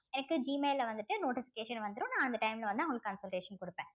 எனக்கு Gmail ல வந்துட்டு notification வந்துரும் நான் அந்த time ல வந்து உங்களுக்கு consultation கொடுப்பேன்